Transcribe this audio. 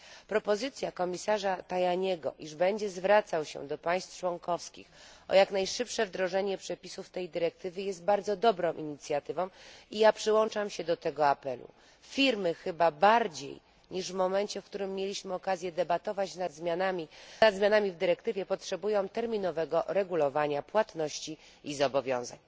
Propozycja komisarza Tajaniego, iż będzie zwracał się do państw członkowskich o jak najszybsze wdrożenie przepisów tej dyrektywy, jest bardzo dobrą inicjatywą i przyłączam się do tego apelu. Firmy chyba bardziej niż w momencie, w którym mieliśmy okazję debatować nad zmianami w dyrektywie, potrzebują terminowego regulowania płatności i zobowiązań.